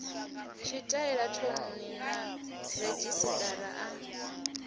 tshitaila thouni na redzhisiṱara a